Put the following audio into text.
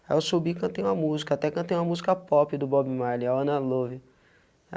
Aí eu subi, cantei uma música, até cantei uma música pop do Bob Marley, i wanna love.